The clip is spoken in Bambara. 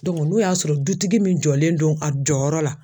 n'o y'a sɔrɔ dutigi min jɔlen don a jɔyɔrɔ la.